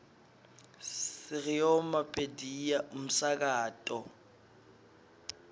sireoma pediya umsakato